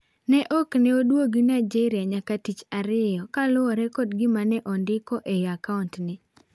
Ne okneoduogo Nigeria nyaka tich ariyo, kaluore kod gima neondiko ei akaaunt ne.